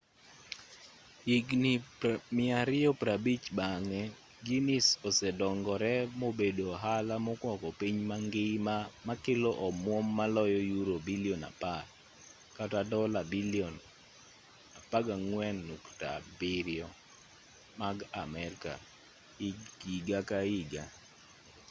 higni 250 bang'e guinness osedongore mobedo ohala mokwako piny mangima makelo omwom maloyo yuro bilion 10 dola bilion $14.7 mag amerka higa ka higa